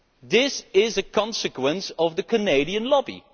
This is a consequence of the Canadian lobby.